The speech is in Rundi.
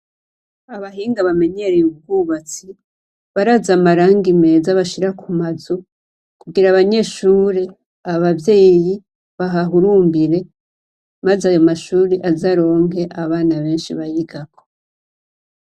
Abahinga bamenyereye ubwubatsi, barazi amarangi meza bashira ku mazu, kugira abanyeshure, abavyeyi bahahurumbire, maze ayo mashuri aze aronke abana benshi bayigako.